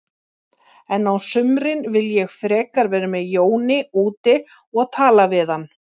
En á sumrin vil ég frekar vera með Jóni úti og tala við hann.